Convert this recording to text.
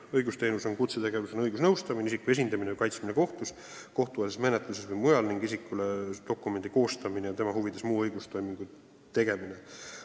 Õigusteenus on õigusnõustamine, isiku esindamine ja kaitsmine kohtus, kohtueelses menetluses ja mujal, samuti isikule dokumendi koostamine ja tema huvides muu õigustoimingu tegemine.